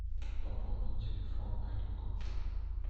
пополнить телефон олегу